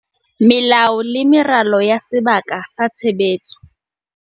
Melao le meralo ya sebaka sa tshebetso